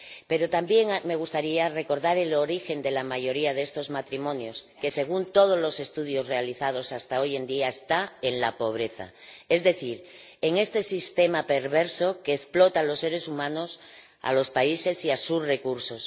Pero también me gustaría recordar el origen de la mayoría de estos matrimonios que, según todos los estudios realizados hasta hoy en día, está en la pobreza, es decir, en este sistema perverso que explota a los seres humanos, los países y sus recursos.